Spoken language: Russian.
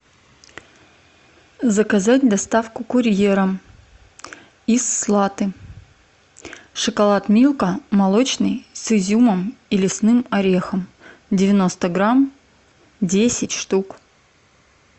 заказать доставку курьером из слаты шоколад милка молочный с изюмом и лесным орехом девяносто грамм десять штук